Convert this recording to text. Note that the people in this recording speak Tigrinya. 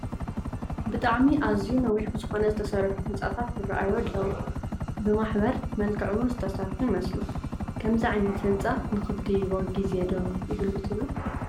ብጣዕሚ ኣዝዩ ነዊሕ ብዝኾነ ዝተሰርሑ ህንፃታት ይራኣዩ ኣለው፡፡ ብማሕበር መልክዕ ውን ዝተሰርሑ ይመስሉ፡፡ ከምዚ ዓይነት ህንፃ ንኽትድይቦ ጊዜ ዶ ይህሉ ትብሉ?